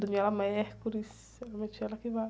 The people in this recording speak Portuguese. Daniela Mercury, realmente ela que vai.